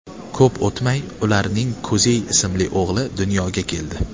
Ko‘p o‘tmay ularning Kuzey ismli o‘g‘li dunyoga keldi.